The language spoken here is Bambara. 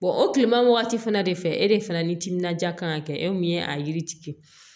o tilema wagati fana de fɛ e de fana ni timinanja kan ka kɛ e min ye a yiri tigɛ